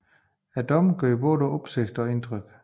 Dommen gjorde både opsigt og indtryk